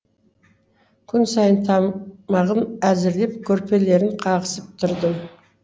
күн сайын тамағын әзірлеп көрпелерін қағысып тұрдым